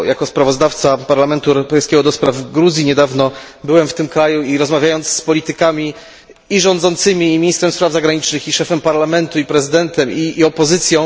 Jako sprawozdawca Parlamentu Europejskiego do spraw Gruzji niedawno byłem w tym kraju i rozmawiałem z politykami, rządzącymi, ministrem spraw zagranicznych, szefem parlamentu, prezydentem i opozycją.